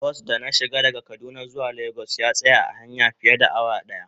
Bas da na shiga daga kaduna zuwa lagos ya tsaya a hanya fiye da awa daya.